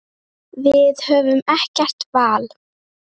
Við höfum ekkert val.